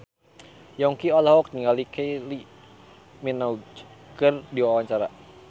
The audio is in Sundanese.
Yongki olohok ningali Kylie Minogue keur diwawancara